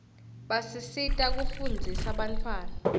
basisita kufundzisa bantfwana